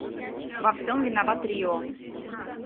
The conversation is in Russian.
во всем виноват рио